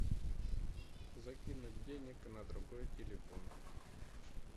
закинуть денег на другой телефон